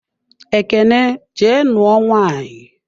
Ekene jee nuo nwaanyị!